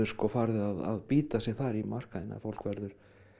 farið að bíta sig þar í markaðinn fólk verður